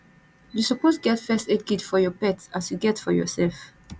you suppose get first aid kit for your pet as you get for yoursef